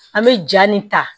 An bɛ ja nin ta